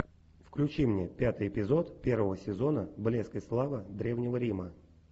включи мне пятый эпизод первого сезона блеск и слава древнего рима